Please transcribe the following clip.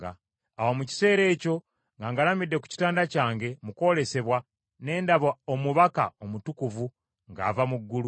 “Awo mu kiseera ekyo nga ngalamidde ku kitanda kyange, mu kwolesebwa, ne ndaba omubaka omutukuvu ng’ava mu ggulu.